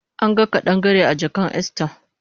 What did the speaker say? Anga kadangare a jakan Esther